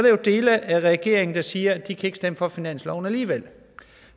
jo dele af regeringen der siger at de ikke kan stemme for finansloven alligevel det